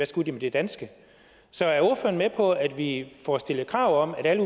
skulle de med det danske så er ordføreren med på at vi får stillet krav om at alle